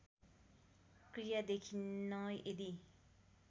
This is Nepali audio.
क्रिया देखिन्न यदि